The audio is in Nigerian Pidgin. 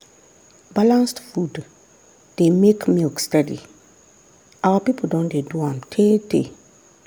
balanced food dey make milk steady our people don dey do am tey tey.